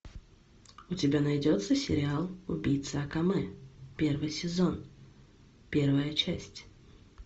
у тебя найдется сериал убийца акаме первый сезон первая часть